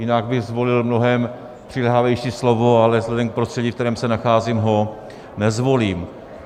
Jinak bych zvolil mnohem přiléhavější slovo, ale vzhledem k prostředí, ve kterém se nacházím, ho nezvolím.